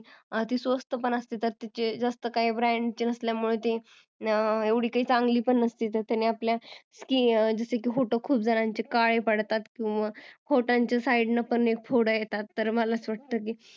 ती स्वस्त पण असते त्यात तिचे जास्त कही skin नसल्यामुळे एव्हढी कही चांगली पण नसते की जस की ओठ खुप जनाची काळी पडतात किंवा ओठांच्या side लां पण फोडी येतात